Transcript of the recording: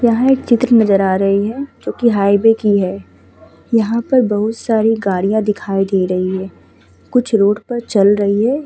यहाँ एक चित्र नज़र आ रही है जो कि हाईवे की है। यहाँ पे बोहोत सारी गाड़ियाँ दिखाई दे रही हैं। कुछ रोड पर चल रही हैं।